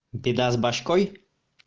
беда с башкой